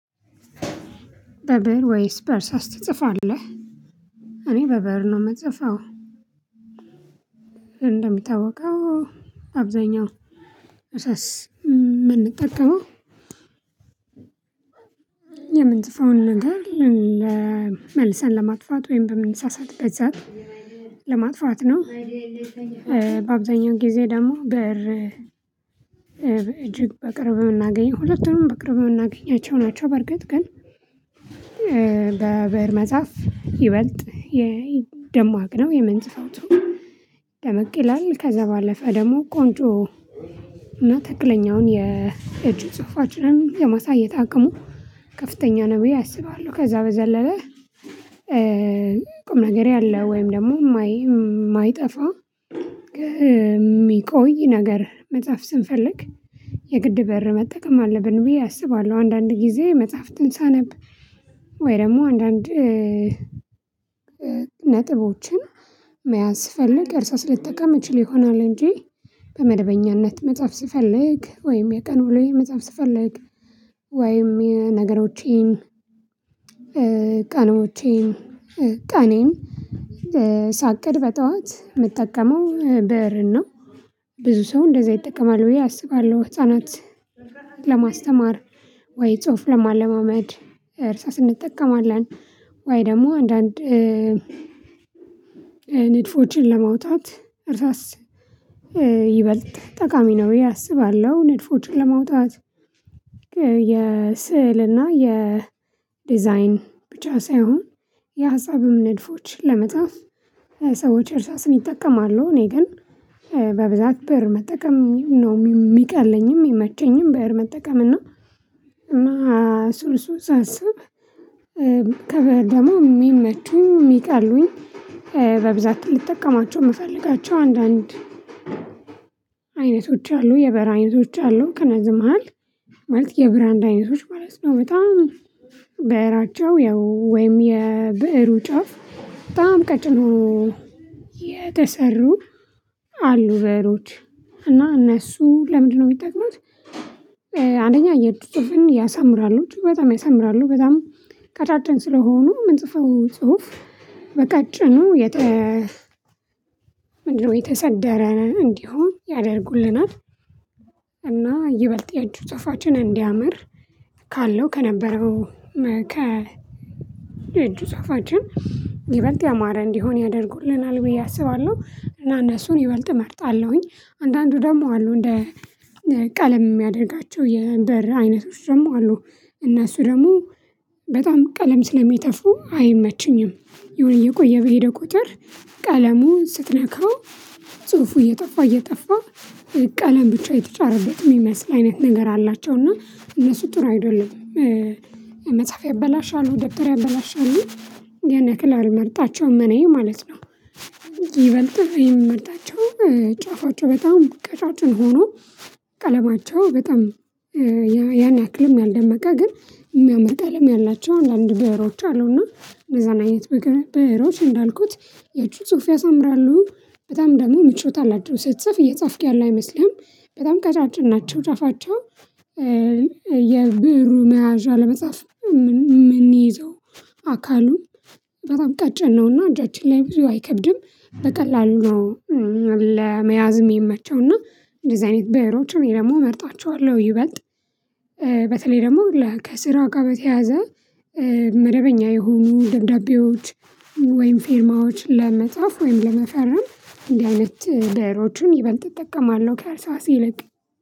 በብእር ወይስ በርሳስ ትጽፋለህ? እኔ በብእር ነው የምጽፈው። እንደሚታወቀው አብዛኛው እርሳስ የምንጠቀመው የምንጽፈውን ነገር መልሰን ለማጥፋት ወይም በምንሳሳትበት ሰዓት ለማጥፋት ነው። በአብዛኛውን ጊዜ ደግሞ በር እጅግ በቅርብ የምናገኝ ሁለቱም በቅርብ የምናገኛቸው ናቸው። በርግጥ ግን በብእር መጻፍ ይበልጥ የደም ደማቅ ነው የመንጽፈው ደመቅ ይላል ከዛ ባለፈ ደግሞ ቆንጆ እና ትክክለኛውን የእጅ የማሳየት እቅሙ ከፍተኛ ነው ብየ አስባለሁ። ከዛ በዘለለ ቁም ነገር ያለው ወይም ደግሞ የማይጠፋ የሚቆይ ነገር መጻፍ ስንፈልግ የግድ ብእር መጠቀም አለብን ብዬ አስባለሁ። አንዳንድ ጊዜ መጽሐፍትን ሳነብ ወይ ደግሞ አንዳንድ ነጥቦችን መያዝ ስፈልግ እርሳስ ልትጠቀም እችል ይሆናል። እንጂ በመደበኛነት መጻፍ ስፈልግ ወይም የቀን ውሎዬ መጻፍ ስፈልግ ወይም የነገሮቼን ቀንዎቼን ቀኔን ቀኔን ሳቅድ በጠዋት የምጠቀመው ብእርን ነው። ብዙ ሰው እንደዛ ይጠቀማል ብዬ አስባለሁ። ህፃናት ለማስተማር ወይ ጽሁፍ ለማለማመድ እርሳስ እንጠቀማለን ወይ ደግሞ አንዳንድ ንድፎችን ለማውጣት እርሳስ ይበልጥ ጠቃሚ ነው ብዬ አስባለሁ። ንድፎችን ለማውጣት የስዕልና የዲዛይን ብቻ ሳይሆን የሀሳብም ንድፎች ለመጻፍ ሰዎች እርሳስም ይጠቀማሉ እኔ ግን በብዛት ብእር መጠቀም ነው የሚቀለኝም የሚመቸኝም ብእር መጠቀም እና። ስልሱን ሳስብ አስብ ከበደማ የሚመቹኝ የሚቀሉኝ በብዛት ልጠቀማቸው የምፈልጋቸው አንዳንድ አይነቶች አሉ የብዕር አይነቶች አሉ። ከነዚህም መሃል የብራንድ አይነቶች ማለት ነው። በጣም ብዕራቸው ያው ወይም የብእሩ ጫፍ በጣም ቀጭኖ የተሰሩ አሉ ብእሮች እና እነሱ ለምንድነው የሚጠቅመው? አንደኛ የእጅ ጽሁፍን ያሳምራሉ በጣም ያሳምራሉ በጣም ቀጫጭን ስለሆኑ ምንጽፈው ጽሁፍ በቀጭኑ የተ ምንድነው የተሰደረ እንዲሆን ያደርጉልናል። እና ይበልጥ የእጅ ጽሁፋችን እንዲያምር ካለው ከነበረው ከ እጅ ጽሁፋችን ይበልጥ ያማረ እንዲሆን ያደርጉልናል ብዬ አስባለሁ። እና እነሱን ይበልጥ እመርጣለሁኝ። አንዳንዱ ደግሞ አሉ እንደ ቀለም የሚያደርጋቸው የብዕር አይነቶች ደግሞ አሉ። እና እሱ ደግሞ በጣም ቀለም ስለሚተፉ አይመችኝም። የሆነ እየቆየ በሄደ ቁጥር ቀለሙን ስትነካው ጽሁፉ እየጠፋ እየጠፋ ቀለም ብቻ የተጫረበት የሚመስል አይነት ነገር አላቸውና እነሱ ጥሩ አይደሉም። መጽሐፍ ያበላሻሉ ደብተር ያበላሻሉ የን ያክል አልመርጣቸውም እኔ ማለት ነው። ይበልጥ የምመርጣቸው ጫፋቸው በጣም ቁጫጭን ሆኖ ቀለማቸው በጣም ያን ያክልም ያልደመቀ ግን የሚያመጣልም ያላቸውን አንዳንድ ብዕሮች አሉና እነዛን አይነት ብዕሮች እንዳልኩት የእጅ ጽሁፍ ያሳምራሉ። በጣም ደግሞ ምቾት አላቸው ስትጽፍ እየጻፍክ ያለ አይመስልህም። በጣም ቀጫጭን ናቸው ጫፋቸው የብዕሩ መያዣ ለመጻፍ የምንይዘው አካሉን በጣም ቀጭን ነውና እጃችን ላይ ብዙ አይከብድም። በቀላሉ ነው። ለመያዝም ሚመቸው እና እንደዚህ አይነት በዕሮችም ደግሞ እመርጣቸዋለሁ። ይበልጥ በተለይ ደግሞ ከስራ ጋር በተያያዘ መደበኛ የሆኑ ደብዳቤዎች ወይም ፌርማዎች ለመጻፍ ወይም ለመፈረም እንዲህ አይነት ብዕሮችንም ይበልጥ እጠቀማለሁ። ከእርሳስ ይልቅ